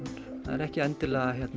það er ekki endilega